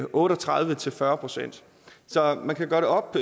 otte og tredive til fyrre procent så man kan gøre det op